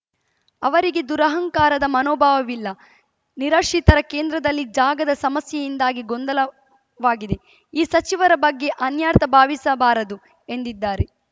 ಅವರಿಗೆ ದುರಂಹಕಾರದ ಮನೋಭಾವವಿಲ್ಲ ನಿರಾಶ್ರಿತರ ಕೇಂದ್ರದಲ್ಲಿ ಜಾಗದ ಸಮಸ್ಯೆಯಿಂದಾಗಿ ಗೊಂದಲವಾಗಿದೆ ಈ ಸಚಿವರ ಬಗ್ಗೆ ಅನ್ಯರ್ಥಾ ಭಾವಿಸಬಾರದು ಎಂದಿದ್ದಾರೆ